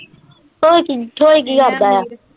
ਹੋਰ ਕੀ ਥੋੜੀ ਜੀ ਦਾ ਆ।